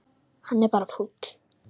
Hann er bara fúll.